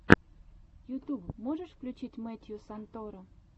ютуб можешь включить мэттью санторо